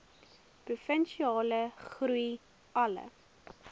provinsiale groei alle